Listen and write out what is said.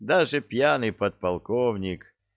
даже пьяный подполковник